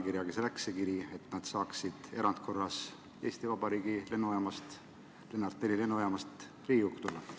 Kelle allkirjaga läks see kiri, et nad saaksid erandkorras Eesti Vabariigi lennujaamast, Lennart Meri lennujaamast Riigikokku tulla?